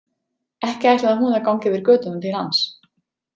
Ekki ætlaði hún að ganga yfir götuna til hans.